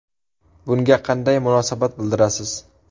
Bunga qanday munosabat bildirasiz?